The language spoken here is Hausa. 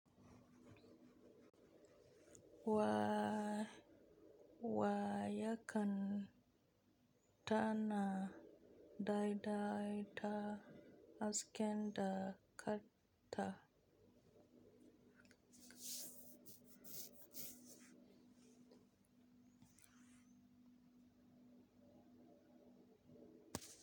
Wa, wa yanka ta na daidaita hasken da kan ta.